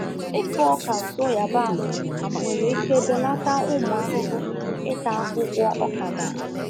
Ịkụ ọka nso yabasị nwere ike belata ụmụ ahụhụ ịta akwụkwọ ọka gị.